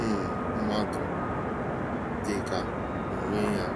um mmadụ - dị ka onwe ya.